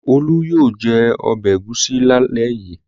Olú yóò jẹ ọbẹ̀ ẹ̀gúsí lálẹ́ yìí.